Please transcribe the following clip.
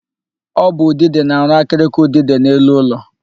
Ọ bụ udide na-arụ akịrịka udide n'elu ụlọ.